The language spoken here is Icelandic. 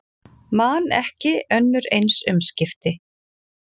Man ekki önnur eins umskipti